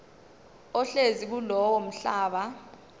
ohlezi kulowo mhlaba